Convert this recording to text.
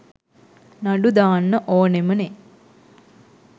නඩු දාන්න ඕනමනෙ.